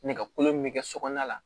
Nɛgɛkolo min be kɛ sokɔnɔna la